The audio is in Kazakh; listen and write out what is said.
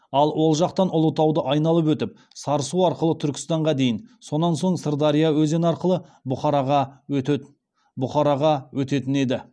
ал ол жақтан ұлытауды айналып өтіп сарысу арқылы түркістанға дейін сонан соң сырдария өзені арқылы бұхараға өтетін еді